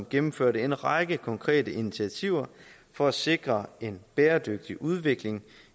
gennemførte en række konkrete initiativer for at sikre en bæredygtig udvikling